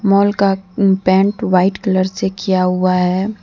Mall का paint white colour से किया हुआ हैं।